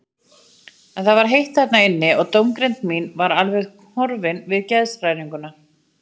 En það var heitt þarna inni og dómgreind mín var alveg horfin við geðshræringuna.